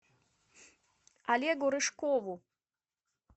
олегу рыжкову